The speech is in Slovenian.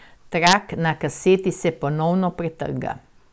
Trak na kaseti se ponovno pretrga.